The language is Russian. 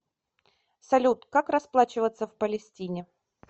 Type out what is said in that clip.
салют как расплачиваться в палестине